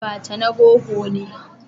Abacha na rogo ne